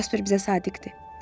Jasper bizə sadiqdir.